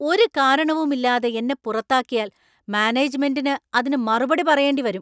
ഒരു കാരണവുമില്ലാതെ എന്നെ പുറത്താക്കിയാൽ മാനേജ്മെൻ്റിന് അതിനു മറുപടി പറയേണ്ടി വരും.